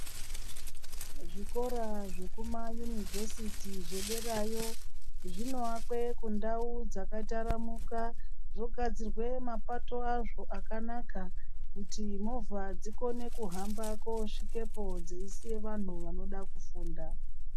Kuzvikora zvekumayunivhesiti zvederayo zvinoakwe kundau dzakataramuka zvogadzirwe mapato azvo akanaka kuti movha dzikone kuhamba koosvikepo dzeisiya vanthu vanode kufunda.